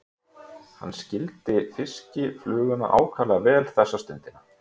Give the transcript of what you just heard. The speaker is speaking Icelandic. Hann skildi fiskifluguna ákaflega vel þessa stundina.